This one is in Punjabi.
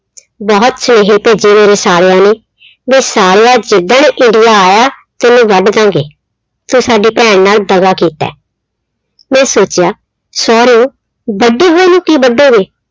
ਬਹੁਤ ਸੁਨੇਹੇਂ ਭੇਜੇ ਮੇਰੇ ਸਾਲਿਆਂ ਨੇ ਵੀ ਸਾਲਿਆ ਜਿੱਦਣ ਇੰਡੀਆ ਆਇਆ ਤੈਨੂੰ ਵੱਢ ਦਿਆਂਗੇ, ਤੂੰ ਸਾਡੀ ਭੈਣ ਨਾਲ ਦਗਾ ਕੀਤਾ ਹੈ ਮੈਂ ਸੋਚਿਆ ਸਹੁਰਿਓ ਵੱਢੇ ਹੋਏ ਨੂੰ ਕੀ ਵੱਢੋਗੇ।